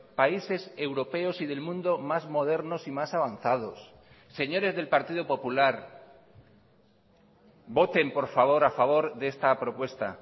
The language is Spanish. países europeos y del mundo más modernos y más avanzados señores del partido popular voten por favor a favor de esta propuesta